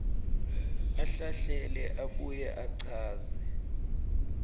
ahlahlele abuye achaze